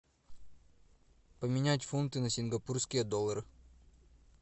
поменять фунты на сингапурские доллары